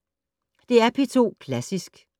DR P2 Klassisk